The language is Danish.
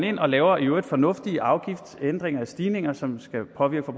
ind og laver i øvrigt fornuftige afgiftsændringer eller stigninger som skal påvirke